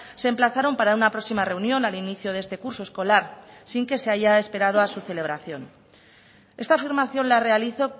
se emplazaron para una próxima reunión al inicio de este curso escolar sin que se haya esperado a su celebración esta afirmación la realizo